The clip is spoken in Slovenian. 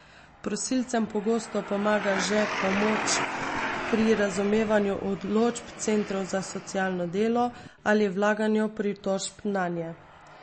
Prosilcem pogosto pomaga že pomoč pri razumevanju odločb centrov za socialno delo ali vlaganju pritožb nanje.